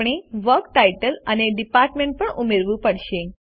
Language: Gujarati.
આપણે વર્ક ટાઇટલ અને ડિપાર્ટમેન્ટ પણ ઉમેરવું પડશે